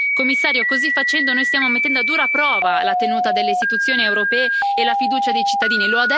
Signor Commissario, così facendo noi stiamo mettendo a dura prova la tenuta delle istituzioni europee e la fiducia dei cittadini.